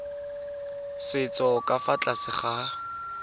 setso ka fa tlase ga